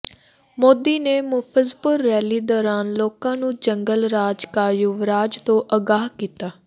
ਮੋਦੀ ਨੇ ਮੁਜ਼ੱਫ਼ਰਪੁਰ ਰੈਲੀ ਦੌਰਾਨ ਲੋਕਾਂ ਨੂੰ ਜੰਗਲ ਰਾਜ ਕਾ ਯੁਵਰਾਜ ਤੋਂ ਆਗਾਹ ਕੀਤਾ